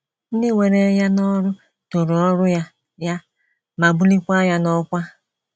Ndị were ya n’ọrụ toro ọrụ ya ya ma bulie ya n’ọkwá.